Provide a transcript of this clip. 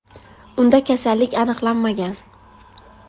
Unda kasallik aniqlanmagan.